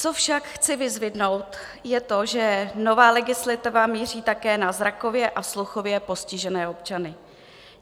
Co však chci vyzdvihnout, je to, že nová legislativa míří také na zrakově a sluchově postižené občany.